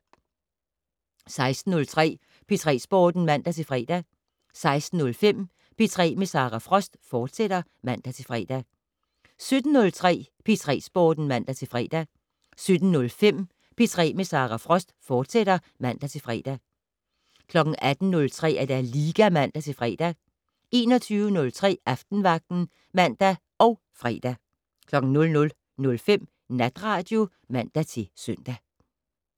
16:03: P3 Sporten (man-fre) 16:05: P3 med Sara Frost, fortsat (man-fre) 17:03: P3 Sporten (man-fre) 17:05: P3 med Sara Frost, fortsat (man-fre) 18:03: Liga (man-fre) 21:03: Aftenvagten (man og fre) 00:05: Natradio (man-søn)